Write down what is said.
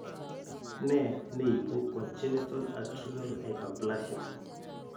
Ne ne ibu congenital adrenal hyperplasia?